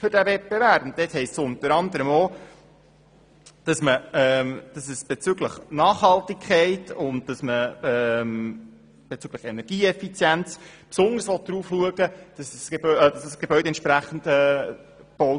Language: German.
Dort heisst es unter anderem, dass auf Nachhaltigkeit und Energieeffizienz beim Bau des Gebäudes geachtet werden soll.